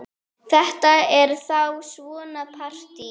Þetta er þá svona partí!